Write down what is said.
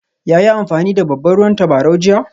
Ya yi amfani da babban ruwan tabarau jiya?